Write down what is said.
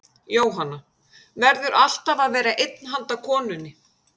Jóhanna: Verður alltaf að vera einn handa konunni?